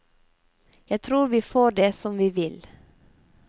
Jeg tror vi får det som vi vil.